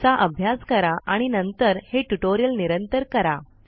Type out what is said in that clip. चा अभ्यास करा आणि नंतर हे ट्यूटोरियल निरंतर करा